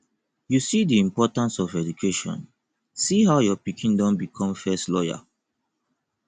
you see the importance of education see how your pikin don become first lawyer